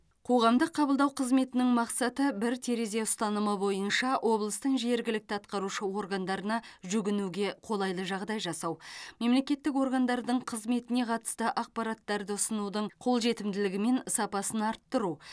қоғамдық қабылдау қызметінің мақсаты бір терезе ұстанымы бойынша облыстың жергілікті атқарушы органдарына жүгінуге қолайлы жағдай жасау мемлекеттік органдардың қызметіне қатысты ақпараттарды ұсынудың қолжетімділігі мен сапасын арттыру